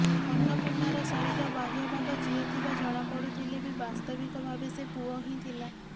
ଅନ୍ନପୂର୍ଣ୍ଣାର ଶରୀର ବାହ୍ୟ ଭାଗ ଝିଅ ଥିବା ଜଣାପଡୁଥିଲେ ବି ବାସ୍ତବିକ ଭାବେ ସେ ପୁଅ ହିଁ ଥିଲା